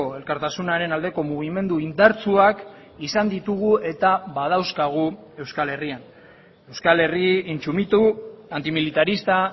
elkartasunaren aldeko mugimendu indartsuak izan ditugu eta badauzkagu euskal herrian euskal herri intsumitu antimilitarista